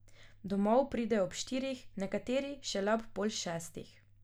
Domov pridejo ob štirih, nekateri šele ob pol šestih.